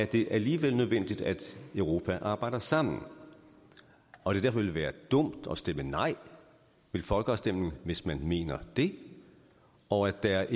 det alligevel nødvendigt at europa arbejder sammen og at det derfor ville være dumt at stemme nej ved folkeafstemningen hvis man mener det og at der